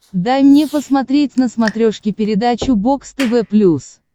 дай мне посмотреть на смотрешке передачу бокс тв плюс